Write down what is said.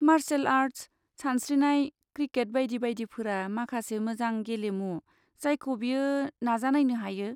Martial art, सानस्रिनाय, cricket बायदि बायदिफोरा माखासे मोजां गेलेमु जायखौ बियो नाजानायनो हायो।